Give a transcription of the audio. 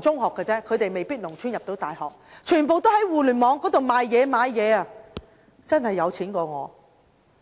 中學畢業，他們未必能從農村入讀大學，但他們全部都會在互聯網進行買賣，真的比我更有錢。